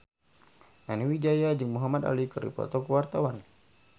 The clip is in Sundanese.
Nani Wijaya jeung Muhamad Ali keur dipoto ku wartawan